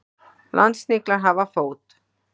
Landsniglar hafa fót.